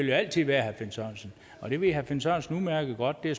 jo altid være og det ved herre finn sørensen udmærket godt det er